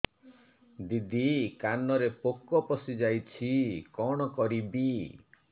ଦିଦି କାନରେ ପୋକ ପଶିଯାଇଛି କଣ କରିଵି